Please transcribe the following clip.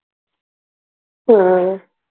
हम्म.